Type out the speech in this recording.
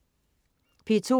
P2: